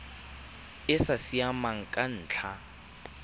e sa siamang ka ntlha